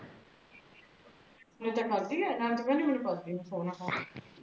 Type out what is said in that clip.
ਨਾਲੇ ਤੇ ਖਾਧੀ ਐ ਨਾਲੇ ਤੂ ਕਹਣਦੀ ਮੀਨੂ ਪਤਾ ਨਹੀ